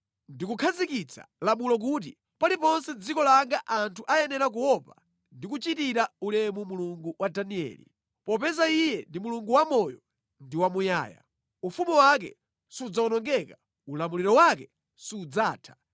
“Ndikukhazikitsa lamulo kuti paliponse mʼdziko langa anthu ayenera kuopa ndi kuchitira ulemu Mulungu wa Danieli. “Popeza Iye ndi Mulungu wamoyo ndi wamuyaya; ufumu wake sudzawonongeka, ulamuliro wake sudzatha.